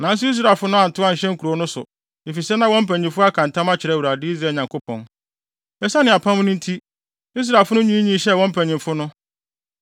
Nanso Israelfo no antow anhyɛ nkurow no so, efisɛ na wɔn mpanyimfo aka ntam akyerɛ Awurade, Israel Nyankopɔn. Esiane Apam no nti, Israelfo no nwiinwii hyɛɛ wɔn mpanyimfo no.